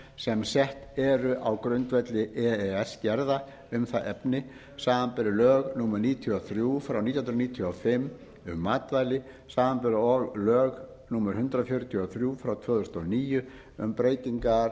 sem sett eru á grundvelli e e s gerða um það efni samanber lög númer níutíu og þrjú nítján hundruð níutíu og fimm um matvæli samanber og lög númer hundrað fjörutíu og þrjú tvö þúsund og níu um breytingar